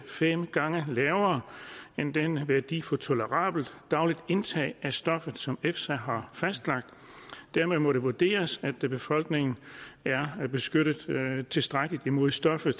fem gange lavere end den værdi for tolerabelt dagligt indtag af stoffet som efsa har fastlagt dermed må det vurderes at befolkningen er beskyttet tilstrækkeligt imod stoffet